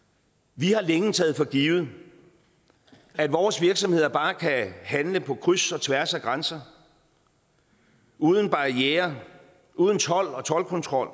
vi har længe taget for givet at vores virksomheder bare kan handle på kryds og tværs af grænser uden barrierer uden told og toldkontrol